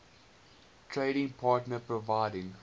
trading partner providing